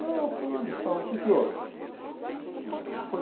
Não, fulano de tal, o que que houve? Ah, ele foi